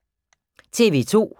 TV 2